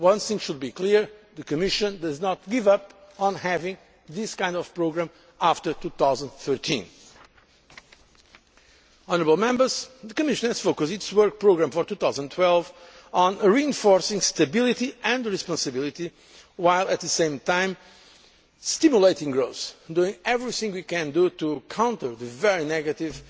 it. One thing should be clear the Commission does not give up on having this kind of programme after 2013. The Commission has focused its work programme for 2012 on reinforcing stability and responsibility, while at the same time stimulating growth, doing everything we can to counter the very negative